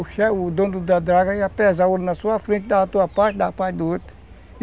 O che, o dono da ia pesar o ouro na sua frente, dar a tua parte, dar a parte do outro.